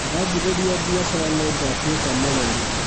Ndanjĩrĩria biacara nĩngatuĩka mũrori